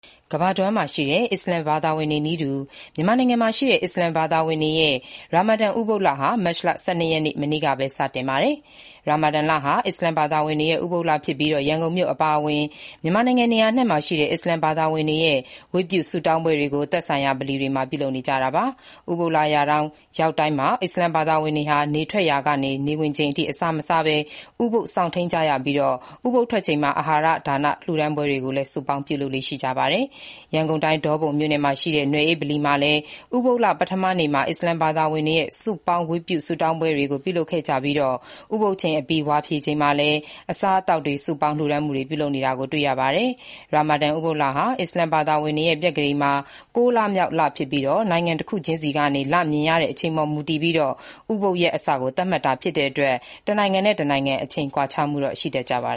ကမ္ဘာတဝန်းမှာရှိတဲ့ အစ္စလာမ်ဘာသာဝင်တွေနည်းတူ မြန်မာနိုင်ငံမှာရှိတဲ့ အစ္စလာမ်ဘာသာဝင်တွေရဲ့ ရာမာဒါန် ဥပုသ်လဟာ မတ်လ ၁၂ ရက် မနေ့ကပဲ စတင်နေပါပြီ။ ရာမာဒါန်လဟာ အစ္စလာမ်သာသာဝင်တွေရဲ့ ဥပုသ်လဖြစ်ပြီး ရန်ကုန်မြို့အပါအဝင် မြန်မာနိုင်ငံ နေရာအနှံ့မှာရှိတဲ့ အစ္စလာမ်ဘာသာဝင်တွေရဲ့ စုပေါင်းဝတ်ပြုဆုတောင်းပွဲတွေကို သက်ဆိုင်ရာ ဗလီတွေမှာ ပြုလုပ်နေကြတာပါ။ ဥပုသ်လရောက်တိုင်း အစ္စလာမ်ဘာသာဝင်တွေဟာ နေထွက်ကနေ နေဝင်ချိန်အထိ အစာမစားဘဲ ဥပုသ်စောင့်ထိန်းကြရပြီး၊ ဥပုသ်ထွက်ချိန်မှာတော့ အာဟာရဒါနလှူဒါန်းပွဲတွေကိုလည်း စုပေါင်းလုပ်လေ့ရှိကြပါတယ်။ ရန်ကုန်တိုင်း၊ ဒေါပုံမြို့နယ်မှာရှိတဲ့ နွယ်အေးဗလီမှာလည်း ဥပုသ်လ ပထမနေ့မှာ အစ္စလာမ်ဘာသာဝင်တွေရဲ့ စုပေါင်း ဝတ်ပြုဆုတောင်းပွဲတွေကို ပြုလုပ်ခဲ့ကြပြီး၊ ဥပုသ်ချိန်အပြီး ဝါဖြေချိန်မှာလည်း အစားအသောက် စုပေါင်းလှူဒါန်းမှုတွေ ပြုလုပ်နေတာကို တွေ့ရပါတယ်။ ရာမာဒါန် ဥပုသ်လဟာ အစ္စလာမ်ဘာသာဝင်တွေရဲ့ ပြက္ခဒိန်မှာ ကိုးလမြောက်လဖြစ်ပြီး နိုင်ငံတခုချင်းစီကနေ လမြင်ရတဲ့ အချိန်ပေါ်မူတည်ပြီး ဥပုသ်ရက်အစကို သတ်မှတ်တာဖြစ်တဲ့အတွက် တနိုင်ငံနဲ့တနိုင်ငံ အချိန်ကွာခြားမှုတော့ ရှိတတ်ကြပါ